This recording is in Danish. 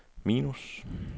minus